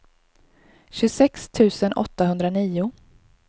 tjugosex tusen åttahundranio